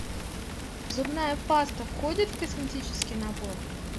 зубная паста входит в косметический набор